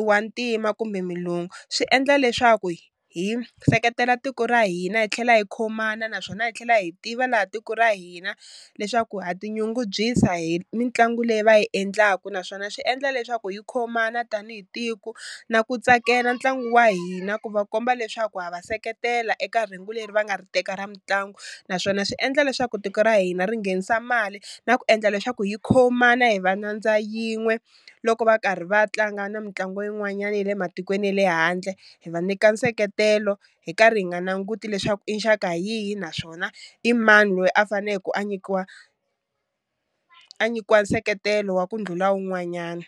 u wa ntima kumbe mulungu swi endla leswaku hi seketela tiko ra hina hi tlhela hi khomana naswona hi tlhela hi tiva laha tiko ra hina leswaku ha tinyungubyisa hi mitlangu leyi va yi endlaku naswona swi endla leswaku hi khomana tanihi tiko na ku tsakela ntlangu wa hina ku va komba leswaku hava seketela eka rhengu leri va nga ri teka ra mitlangu naswona swi endla leswaku tiko ra hina ri nghenisa mali na ku endla leswaku hi khomana hi va nyandza yin'we loko va karhi va tlanga na mitlangu yin'wanyana ya le matikweni ya le handle hi va nyika nseketelo hi karhi hi nga nanguti leswaku i nxaka yihi naswona i mani loyi a faneke a nyikiwa a nyikiwa nseketelo wa ku ndlhula wun'wanyani.